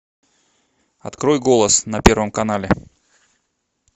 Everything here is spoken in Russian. открой голос на первом канале